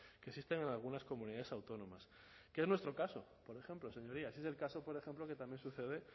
que existen en algunas comunidades autónomas que es nuestro caso por ejemplo señorías es el caso por ejemplo que también sucede